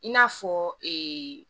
I n'a fɔ